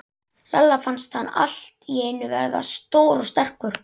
Lalla fannst hann allt í einu verða stór og sterkur.